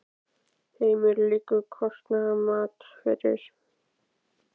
Heimir: Liggur kostnaðarmat fyrir?